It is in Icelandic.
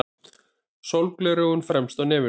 Sólgleraugun fremst á nefinu.